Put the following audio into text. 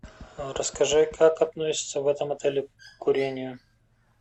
расскажи как относятся в этом отеле к курению